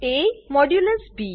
ab